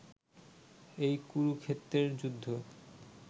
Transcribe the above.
এই কুরুক্ষেত্রের যুদ্ধ